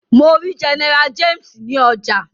Mọ rí General James ní ọjà.